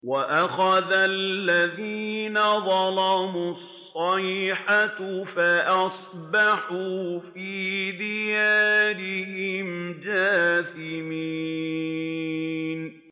وَأَخَذَ الَّذِينَ ظَلَمُوا الصَّيْحَةُ فَأَصْبَحُوا فِي دِيَارِهِمْ جَاثِمِينَ